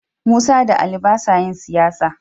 Musa da Ali ba sa yin siyasa.